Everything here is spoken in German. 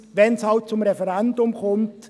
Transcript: Übrigens, sollte es halt zum Referendum kommen: